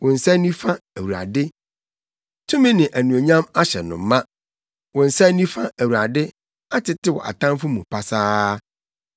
Wo nsa nifa, Awurade, tumi ne anuonyam ahyɛ no ma; wo nsa nifa, Awurade, atetew atamfo mu pasaa.